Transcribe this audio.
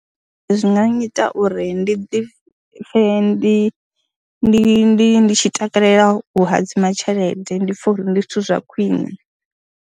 Zwi nga nnyita uri ndi ḓi pfhe ndi ndi ndi ndi tshi takalela u hadzima tshelede, ndi pfhe uri ndi zwithu zwa khwiṋe.